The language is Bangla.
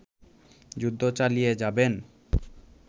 যুদ্ধ চালিয়ে যাবেন